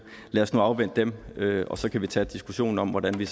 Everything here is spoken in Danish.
lad os nu afvente dem og så kan vi tage diskussionen om hvordan vi